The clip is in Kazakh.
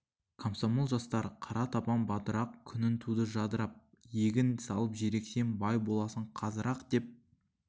комсомол жастар қара табан бадырақ күнің туды жадырап егін салып жер ексең бай боласың қазір-ақ деп